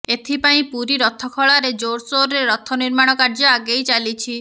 ଏଥିପାର୍ଇ ପୁରୀ ରଥଖଳାରେ ଜୋରସୋର୍ରେ ରଥ ନିର୍ମାଣ କାର୍ଯ୍ୟ ଆଗେଇ ଚାଲିଛି